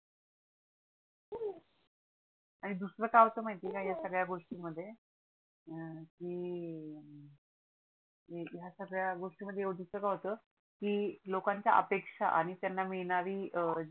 आणि दुसर काय होत माहिती आहे का या सगळ्या गोष्टींमध्ये की हया संगड्या गोष्टी मध्ये दुसर काय होतय की लोकांची अपेक्षा आणि त्यांना मिडणारी जी